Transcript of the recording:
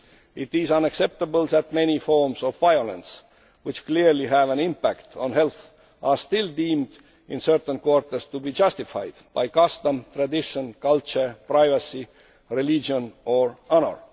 It is unacceptable that many forms of violence which clearly have an impact on health are still deemed, in certain quarters, to be justified' by custom, tradition, culture, privacy, religion or honour.